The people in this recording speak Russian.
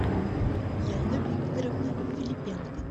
яна викторовна филипенко